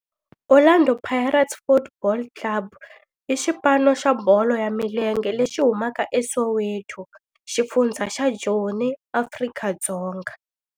Orlando Pirates Football Club i xipano xa bolo ya milenge lexi humaka eSoweto, xifundzha xa Joni, Afrika-Dzonga.